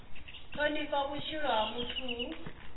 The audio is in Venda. thonifha vhutshilo ha muthu hu